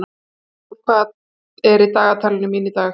Sæsól, hvað er í dagatalinu mínu í dag?